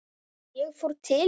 Ég fór til